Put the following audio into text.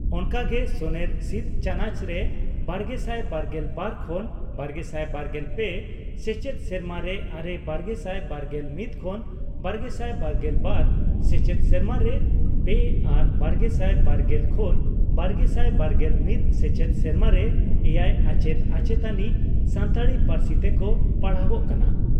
ᱚᱱᱠᱟᱜᱮ ᱥᱚᱱᱮᱨ ᱥᱤᱫ ᱪᱟᱱᱚᱪ ᱨᱮ ᱵᱟᱨᱜᱮᱥᱟᱭ ᱵᱟᱨᱜᱮᱞ ᱵᱟᱨ ᱠᱷᱚᱱ ᱵᱟᱨᱜᱮᱥᱟᱭ ᱵᱟᱨᱜᱮᱞ ᱯᱮ ᱥᱮᱪᱮᱫ ᱥᱮᱨᱢᱟᱨᱮ ᱟᱨᱮ , ᱵᱟᱨᱜᱮᱥᱟᱭ ᱵᱟᱨᱜᱮᱞ ᱢᱤᱛ ᱠᱷᱚᱱ ᱵᱟᱨᱜᱮᱥᱟᱭ ᱵᱟᱨᱜᱮᱞ ᱵᱟᱨ ᱥᱮᱪᱮᱫ ᱥᱮᱨᱢᱟᱨᱮ ᱯᱮ ᱟᱨ ᱵᱟᱨᱜᱮᱥᱟᱭ ᱵᱟᱨᱜᱮᱞ ᱠᱷᱚᱱ ᱵᱟᱨᱜᱮᱥᱟᱭ ᱵᱟᱨᱜᱮᱞ ᱢᱤᱛ ᱥᱮᱪᱮᱫ ᱥᱮᱨᱢᱟᱨᱮ ᱮᱭᱟᱭ ᱟᱪᱮᱛ ᱟᱪᱮᱛᱟᱱᱤ ᱥᱟᱱᱛᱟᱲᱤ ᱯᱟᱹᱨᱥᱤ ᱛᱮᱠᱚ ᱯᱟᱲᱦᱟᱣᱜ ᱠᱟᱱᱟ ᱾